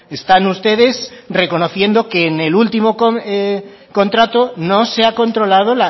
están ustedes reconociendo que en el último contrato no se ha controlado